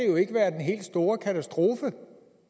jo ikke være den helt store katastrofe